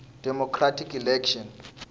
democratic election